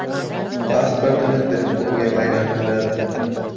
Pasportini “telefon”ga aylantiradi .